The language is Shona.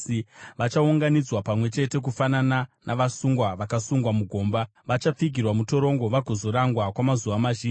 Vachaunganidzwa pamwe chete kufanana navasungwa vakasungwa mugomba; vachapfigirwa mutorongo vagozorangwa kwamazuva mazhinji.